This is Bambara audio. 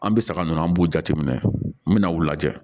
An bɛ saga ninnu an b'u jateminɛ n mɛna u lajɛ